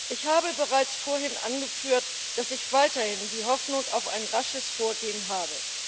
Ich habe bereits vorhin angeführt, dass ich weiterhin die Hoffnung auf ein rasches Vorgehen habe.